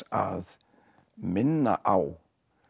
að minna á